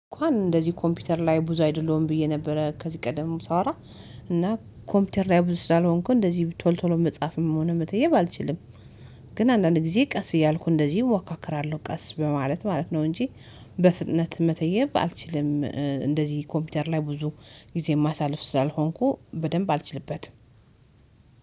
እንኳን እንደዚህ ኮምፒውተር ላይ ብዙ አይደለሁም ብዬ ነበረ ከዚህ ቀደም ሳወራ። እና ኮምፒውተር ላይ ብዙ ስላልሆንኩ እንደዚህ ቶሎ ቶሎ መጻፍም ሆነ መተየብ አልችልም። ግን አንዳንድ ጊዜ ቀስ እያልኩ እንደዚህ እወካክራለሁ ቀስ በማለት ማለት ነው እንጂ በፍጥነት መተየብ አልችልም። እንደዚህ ኮምፒውተር ላይ ብዙ ጊዜ የማሳልፍ ስላልሆንኩ በደንብ አልችልበትም።